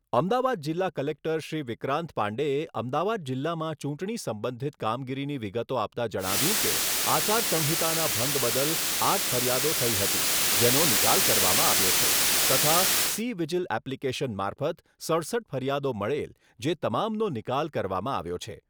અમદાવાદ જિલ્લા કલેક્ટર શ્રી વિક્રાંત પાંડેએ અમદાવાદ જિલ્લામાં ચૂંટણી સંબંધિત કામગીરીની વિગતો આપતાં જણાવ્યુંં કે, આચારસંહિતાના ભંગ બદલ આઠ ફરિયાદો થઈ હતી જેનો નિકાલ કરવામાં આવ્યો છે તથા સિ વિજીલ એપ્લીકેશન મારફત સડસઠ ફરિયાદો મળેલ જે તમામનો નિકાલ કરવામાં આવ્યો છે.